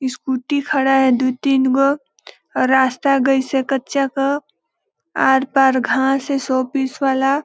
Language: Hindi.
स्कूटी खड़ा है दु तीन गो रास्ता गईस हे. कच्चा क आर-पार घास हे शोपीस वाला--